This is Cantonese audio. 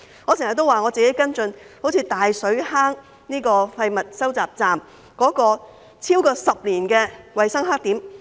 我經常也提到我跟進的大水坑廢物收集站，那是超過10年的衞生黑點。